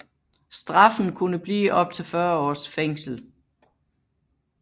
Straffen kunne blive op til 40 års fængsel